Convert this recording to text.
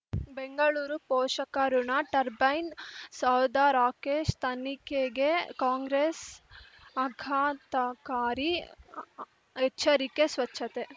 ಬೆಂಗಳೂರು ಪೋಷಕಋಣ ಟರ್ಬೈನು ಸೌಧ ರಾಕೇಶ್ ತನಿಖೆಗೆ ಕಾಂಗ್ರೆಸ್ ಆಘಾತಕಾರಿ ಎಚ್ಚರಿಕೆ ಸ್ವಚ್ಛತೆ